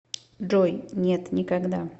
джой нет никогда